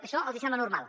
això els sembla normal